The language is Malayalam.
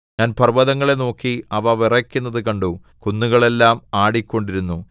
ഞാൻ പർവ്വതങ്ങളെ നോക്കി അവ വിറയ്ക്കുന്നതു കണ്ടു കുന്നുകൾ എല്ലാം ആടിക്കൊണ്ടിരുന്നു